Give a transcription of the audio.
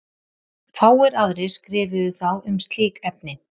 fáir aðrir skrifuðu þá um slík efni